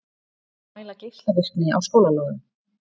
Mæla geislavirkni á skólalóðum